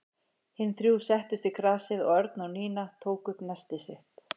Hin þrjú settust í grasið og Örn og Nína tóku upp nestið sitt.